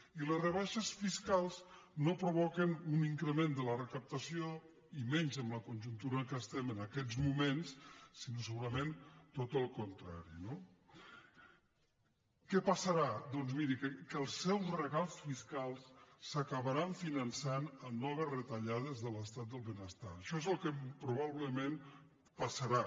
i les rebaixes fiscals no provoquen un increment de la recaptació i menys en la conjuntura en què estem en aquests moments sinó segurament tot el contrari no què passarà doncs miri que els seus regals fiscals s’acabaran finançant amb noves retallades de l’estat del benestar això és el que probablement passarà